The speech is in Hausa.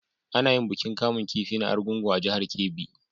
A na yin bikin kamun kifi na argungu a jahar kebbi